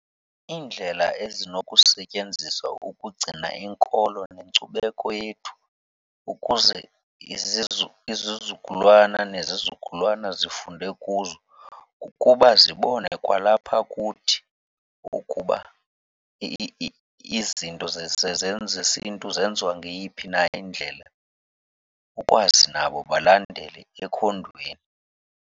Iindlela ezinokusetyenziswa ukugcina inkolo nenkcubeko yethu ukuze izizukulwana nezizukulwana zifunde kuzo kukuba zibone kwalapha kuthi ukuba izinto zesiNtu zenziwa ngeyiphi na indlela ukwazi nabo balandele ekhondweni.